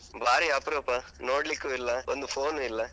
ಬಾರಿ ಅಪ್ರೂಪ. ನೋಡ್ಲಿಕ್ಕೂ ಇಲ್ಲ, ಒಂದು phone ನೂ ಇಲ್ಲ.